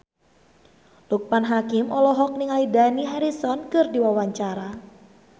Loekman Hakim olohok ningali Dani Harrison keur diwawancara